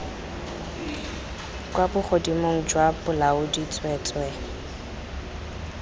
kwa bogodimong jwa bolaodi tsweetswee